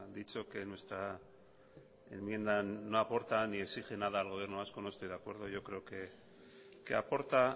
dicho que nuestra enmienda no aporta ni exige nada al gobierno vasco no estoy de acuerdo yo creo que aporta